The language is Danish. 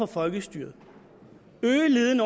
folkestyret øge leden